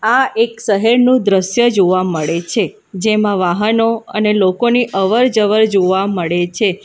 આ એક શહેરનું દ્રશ્ય જોવા મળે છે જેમાં વાહનો અને લોકોને અવરજવર જોવા મળે છે.